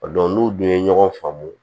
n'u dun ye ɲɔgɔn faamu